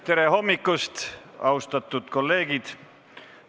Tere hommikust, austatud kolleegid!